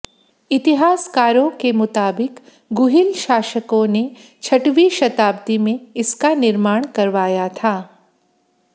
इतिहासकारों के मुताबिक गुहिल शासकों ने छठवीं शताब्दी में इसका निर्माण करवाया था